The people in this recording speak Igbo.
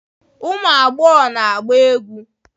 Ụmụ agbọghọ na-agba egwú.